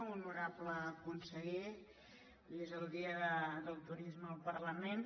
honorable conseller avui és el dia del turisme al parlament